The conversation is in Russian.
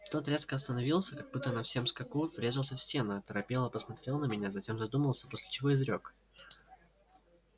тот резко остановился как будто на всем скаку врезался в стену оторопело посмотрел на меня затем задумался после чего изрёк